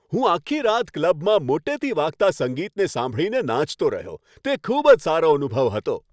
હું આખી રાત ક્લબમાં મોટેથી વાગતા સંગીતને સાંભળીને નાચતો રહ્યો. તે ખૂબ જ સારો અનુભવ હતો.